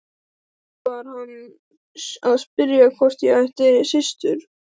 Var hann að spyrja hvort ég ætti systur?